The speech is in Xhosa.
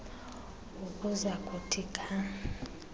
ukuza kuthi ga